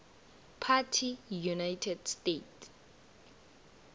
party united states